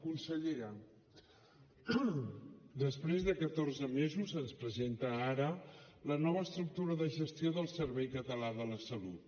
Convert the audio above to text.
consellera després de catorze mesos ens presenta ara la nova estructura de gestió del servei català de la salut